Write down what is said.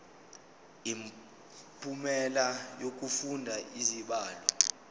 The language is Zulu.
imiphumela yokufunda izibalo